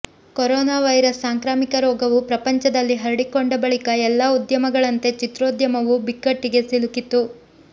corona virus ಸಾಂಕ್ರಾಮಿಕ ರೋಗವು ಪ್ರಪಂಚದಲ್ಲಿ ಹರಡಿಕೊಂಡ ಬಳಿಕ ಎಲ್ಲ ಉದ್ಯಮಗಳಂತೆ ಚಿತ್ರೋದ್ಯಮವು ಬಿಕ್ಕಟ್ಟಿಗೆ ಸಿಲುಕಿತ್ತು